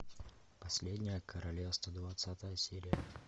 последнее королевство двадцатая серия